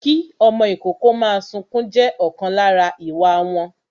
Kí ọmọ ìkókó máa sunkún jẹ́ ọ̀kan lára àwọn ìwà wọn